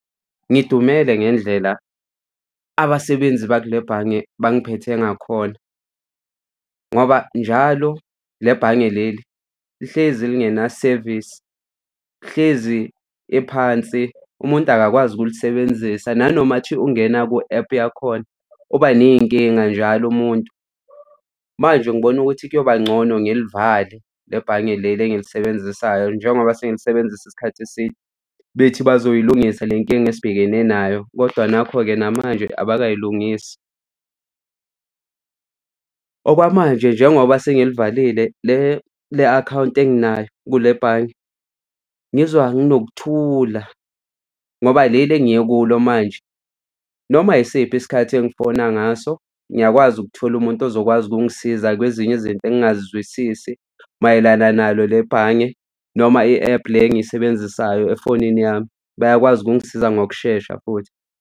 Ngidumele ngendlela abasebenzi bakule bhange bangiphethe ngakhona, ngoba njalo le bhange leli lihlezi lingenasevisi, hlezi liphansi umuntu akakwazi ukulisebenzisa nanomathi ungena ku-app yakhona uba ney'nkinga njalo umuntu. Manje ngibona ukuthi kuyoba ngcono ngilivale le bhange leli engilisebenzisayo njengoba sengilisebenzisa isikhathi eside bethi bazoyilungisa le nkinga esibhekene nayo, kodwa nakho-ke namanje abakayilungisi. Okwamanje njengoba sengilivalile le le akhawunti enginayo kule bhange ngizwa nginokuthula ngoba leli engiye kulo manje noma yisiphi isikhathi engifona ngaso ngiyakwazi ukuthola umuntu ozokwazi ukungisiza kwezinye izinto engingazizwisisi mayelana nalo le bhange noma i-app le engiyisebenzisayo efonini yami bayakwazi ukungisiza ngokushesha futhi.